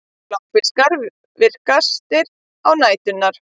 Bláfiskar eru virkastir á næturnar.